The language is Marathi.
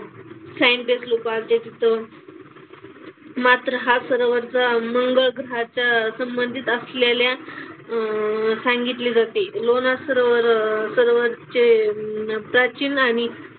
सायंटिस्ट लोकं आल्ते तिथं. मात्र हा सरोवराचा मंगळ ग्रहाचं संबंधित असलेल्या अह सांगितले जाते. लोणार सरोवर सरोवरचे अं प्राचीन आणि,